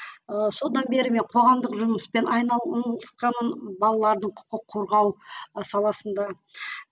ыыы содан бері мен қоғамдық жұмыспен айналысқаным балалардың құқық қорғау ы саласында